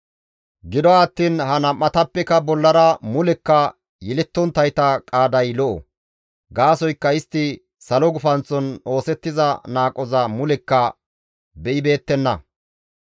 Gido attiin ha nam7atappeka bollara mulekka yelettonttayta qaaday lo7o; gaasoykka istti salo gufanththon oosettiza qohoza mulekka be7ibeettenna.